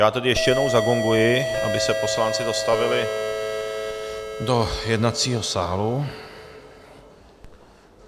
Já tedy ještě jednou zagonguji, aby se poslanci dostavili do jednacího sálu.